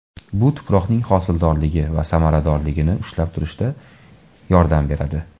Bu tuproqning hosildorligi va samaradorligini ushlab turishda yordam beradi.